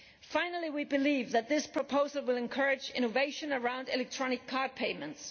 Finally, we believe that this proposal will encourage innovation around electronic card payments.